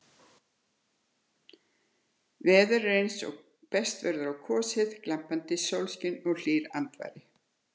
Veður var einsog best varð á kosið, glampandi sólskin og hlýr andvari.